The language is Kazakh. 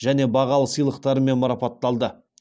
және бағалы сыйлықтарымен марапатталды